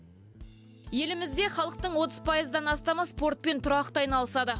елімізде халықтың отыз пайыздан астамы спортпен тұрақты айналысады